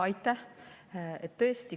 Aitäh!